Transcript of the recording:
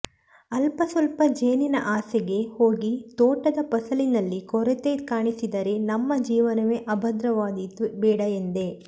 ಅಲ್ಪಸ್ವಲ್ಪ ಜೇನಿನ ಆಸೆಗೆ ಹೋಗಿ ತೋಟದ ಫಸಲಿನಲ್ಲಿ ಕೊರತೆ ಕಾಣಿಸಿದರೆ ನಮ್ಮ ಜೀವನವೇ ಅಭದ್ರವಾದೀತು ಬೇಡಎಂದೆ